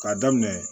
K'a daminɛ